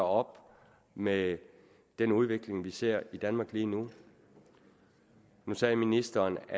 op med den udvikling vi ser i danmark lige nu nu sagde ministeren